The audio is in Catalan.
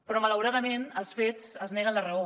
però malauradament els fets els neguen la raó